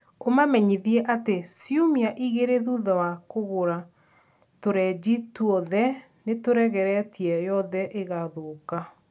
ũmamenyithie atĩ ciumia igĩrĩ thutha wa kũgũra tũrenji tũothe nĩ tũregereteĩga yothe ĩgathũka